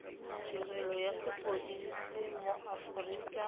tirelo ya sepodisi mo aforika